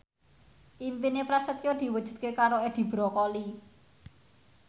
impine Prasetyo diwujudke karo Edi Brokoli